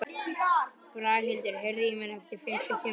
Braghildur, heyrðu í mér eftir fimmtíu og sjö mínútur.